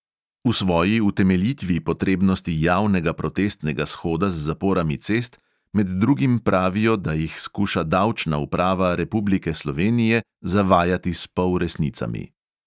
V svoji utemeljitvi potrebnosti javnega protestnega shoda z zaporami cest med drugim pravijo, da jih skuša davčna uprava republike slovenije zavajati s polresnicami.